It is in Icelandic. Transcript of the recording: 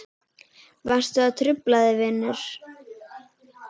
Varstu að hrufla þig vinur?